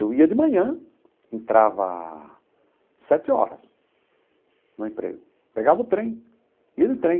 Eu ia de manhã, entrava sete horas no emprego, pegava o trem, ia de trem.